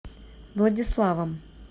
владиславом